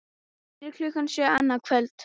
Fyrir klukkan sjö annað kvöld